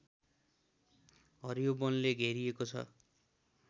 हरियो वनले घेरिएको छ